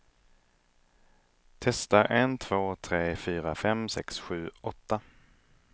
Testar en två tre fyra fem sex sju åtta.